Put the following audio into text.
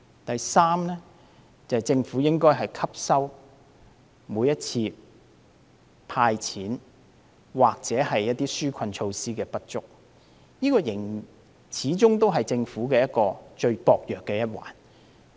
第三，政府應該從每次推出"派錢"或紓困措施的不足汲取教訓，這始終是政府最薄弱的一環。